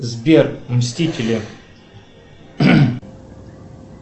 сбер мстители